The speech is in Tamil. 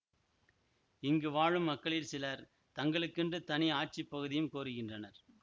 இங்கு வாழும் மக்களில் சிலர் தங்களுக்கென்று தனி ஆட்சி பகுதியும் கோருகின்றனர்